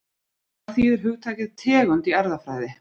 Hvað þýðir hugtakið tegund í erfðafræði?